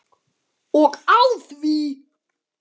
Og á því!